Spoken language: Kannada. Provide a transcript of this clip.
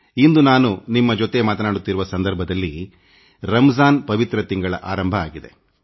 ಇಂದು ನಾನು ನಿಮ್ಮ ಜೊತೆ ಮಾತಾಡುತ್ತಿರುವ ಸಂದರ್ಭದಲ್ಲಿ ರಂಜಾನ್ ಪವಿತ್ರ ಮಾಸ ಈಗಾಗಲೇ ಆರಂಭವಾಗಿದೆ